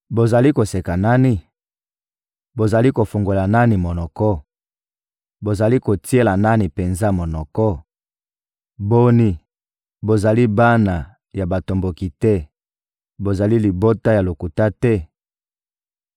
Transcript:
Bozali koseka nani? Bozali kofungolela nani monoko? Bozali kotiela nani penza monoko? Boni, bozali bana ya batomboki te, bozali libota ya lokuta te?